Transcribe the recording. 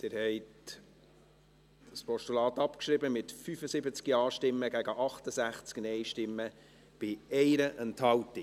Sie haben das Postulat abgeschrieben, mit 75 Ja- gegen 68 Nein-Stimmen bei 1 Enthaltung.